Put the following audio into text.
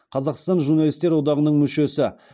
қазақстан журналистер одағының мүшесі